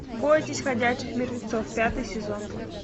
бойтесь ходячих мертвецов пятый сезон